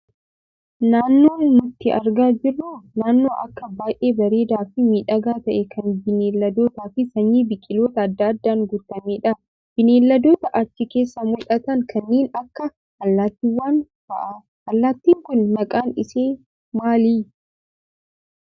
Naannoon nuti argaa jirru Kun, naannoo akkaan baayyee bareedaa fi miidhagaa ta'e, kan bineeldotaa fi sanyii biqiloota addaa addaan guutamedha. Bineeldota achi keessaa mul'atan kanneen akka allaattiiwwan fa'aa. Allaattiin Kun maqaan isaa maali?